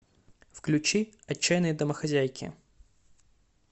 включи отчаянные домохозяйки